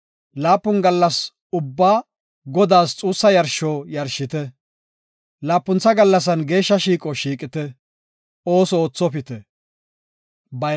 Laapun gallas ubbaa Godaas xuussa yarsho yarshite; laapuntha gallasan geeshsha shiiqo shiiqite; ooso oothopite.